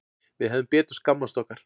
Við hefðum betur skammast okkar.